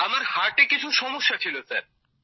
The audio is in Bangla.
আমার হার্টে কিছু সমস্যা হয়েছিল স্যার